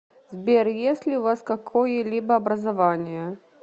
сбер есть ли у вас какое либо образование